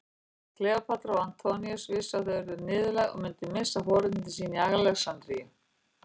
Kleópatra og Antoníus vissu að þau yrðu niðurlægð og myndu missa forréttindi sín í Alexandríu.